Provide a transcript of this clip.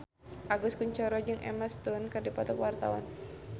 Agus Kuncoro jeung Emma Stone keur dipoto ku wartawan